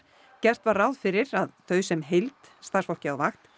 gert var ráð fyrir að þau sem heild starfsfólk á vakt